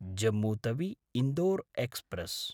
Jammu तवि–इन्दोर् express